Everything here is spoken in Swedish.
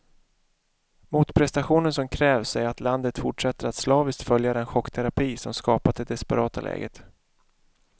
Motprestationen som krävs är att landet fortsätter att slaviskt följa den chockterapi som skapat det desperata läget.